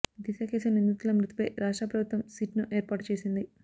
దిశ case నిందితుల మృతిపై రాష్ట్ర ప్రభుత్వం సిట్ ను ఏర్పాటు చేసింది